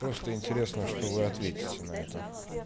просто интересно что вы ответите на это